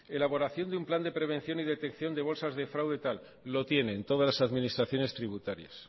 elaboración de un plan de prevención y detección de bolsas de fraude tal lo tienen todas las administraciones tributarias